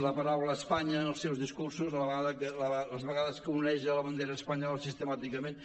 la paraula espanya en els seus discursos les vegades que oneja la bandera espanyola sistemàticament